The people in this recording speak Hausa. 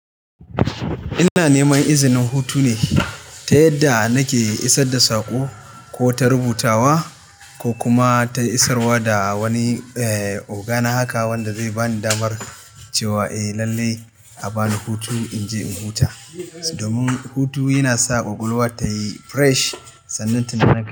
Ina neman izinin hutu ne ta yadda nake isar da saƙo ko ta rubutawa ko kuma ta isarwa da wani, eh, ogana haka wanda zai bani damar cewa eh lallai a bani hutu in je in huta. Domin hutu yana sa ƙwaƙwalwa ta yi fresh, sannan tunani.